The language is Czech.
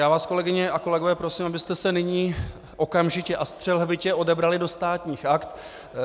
Já vás, kolegyně a kolegové, prosím, abyste se nyní okamžitě a střelhbitě odebrali do Státních aktů.